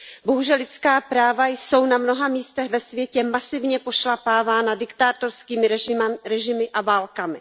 Bohužel lidská práva jsou na mnoha místech ve světě masivně pošlapávána diktátorskými režimy a válkami.